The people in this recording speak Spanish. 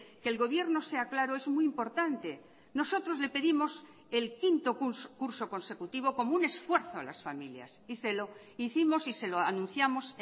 que el gobierno sea claro es muy importante nosotros le pedimos el quinto curso consecutivo como un esfuerzo a las familias y se lo hicimos y se lo anunciamos